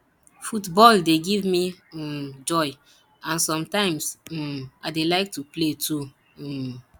football dey give me um joy and sometimes um i dey like to play too um